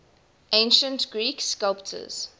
ancient greek sculptors